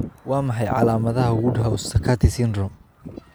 Waa maxay calaamadaha iyo calaamadaha Woodhouse Sakati syndrome?